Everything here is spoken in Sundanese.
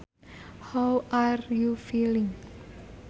How are you feeling